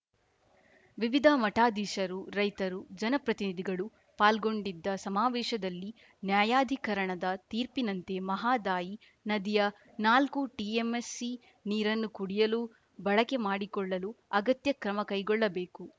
ವಿವಿಧ ಮಠಾಧೀಶರು ರೈತರು ಜನಪ್ರತಿನಿಧಿಗಳು ಪಾಲ್ಗೊಂಡಿದ್ದ ಸಮಾವೇಶದಲ್ಲಿ ನ್ಯಾಯಾಧಿಕರಣದ ತೀರ್ಪಿನಂತೆ ಮಹದಾಯಿ ನದಿಯ ನಾಲ್ಕು ಟಿಎಂಸಿ ನೀರನ್ನು ಕುಡಿಯಲು ಬಳಕೆ ಮಾಡಿಕೊಳ್ಳಲು ಅಗತ್ಯ ಕ್ರಮ ಕೈಗೊಳ್ಳಬೇಕು